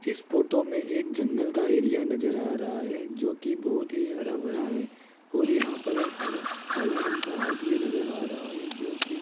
इस फोटो में एक जंगल का एरिया नजर आ रहा है जोकि बहुत ही हरा भरा है और यहां पर एक हरा काला रंग का हाथ भी नजर आ रहा है जोकि --